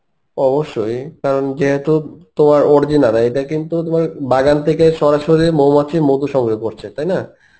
অবশ্যই কারণ যেহেতু তোমার original হয়, এইটা কিন্তু তোমার বাগান থেকে সরাসরি মৌমাছি মধু সংগ্রহ করছে, তাই না?